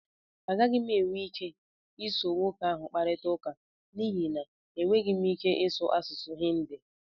Agaghị m enwe ike iso nwoke ahụ kparịta ụka n'ihi na enweghị m ike ịsụ asụsụ Hindi